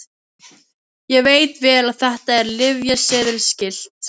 Ég veit vel að þetta er lyfseðilsskylt.